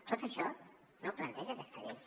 tot això no ho planteja aquesta llei